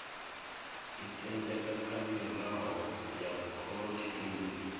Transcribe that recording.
isendeka kha mirao ya khorotshitumbe